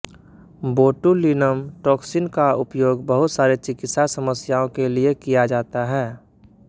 botulinum toxin का उपयोग बहुत सारे चिकित्सा समस्याओं के लिए किया जाता है